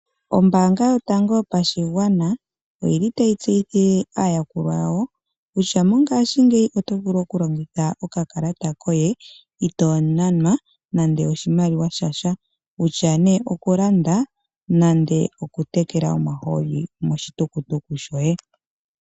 Ombaanga yotango yopashigwana oyi li tayi tseyithile aayakulwa yawo kutya mongaashingeyi oto vulu okulongitha okakalata koye ito nanwa nande oshimaliwa shasha, kutya ne okulanda nenge okutekela omahooli moshitukutuku shoye.